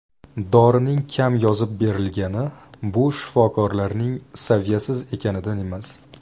Dorining kam yozib berilgani bu shifokorlarning saviyasiz ekanidan emas.